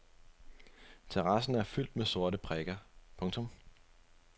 Terrassen er fyldt med sorte prikker. punktum